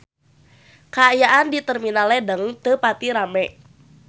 Kaayaan di Terminal Ledeng teu pati rame